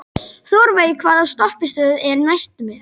Þórveig, hvaða stoppistöð er næst mér?